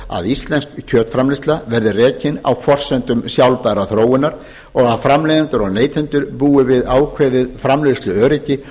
að íslensk kjötframleiðsla verði rekin á forsendum sjálfbærrar þróunar og að framleiðendur og neytendur búi við ákveðið framleiðsluöryggi